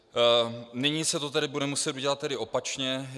Nyní se to tedy bude muset udělat opačně.